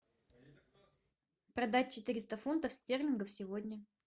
продать четыреста фунтов стерлингов сегодня